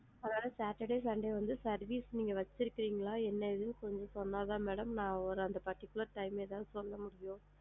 அதனால saturday sunday வந்து service நீங்க வச்சு இருபின்களா என்னன்னு கொஞ்சம் சொன்ன தான் madam நான் ஒரு அந்த particular time ல ஏதாது சொல்ல முடியும்.